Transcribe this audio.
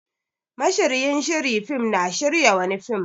Mashiryin shiri fim na shirya wani fim.